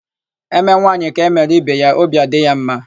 E mee nwaanyị ka e mere ibe ya; obi adị ya ḿmā.